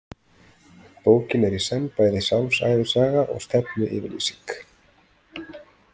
Bókin er í senn bæði sjálfsævisaga og stefnuyfirlýsing.